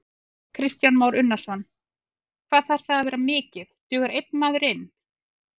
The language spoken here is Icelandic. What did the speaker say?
Kristján Már Unnarsson: Hvað þarf það að vera mikið, dugar einn maður inn?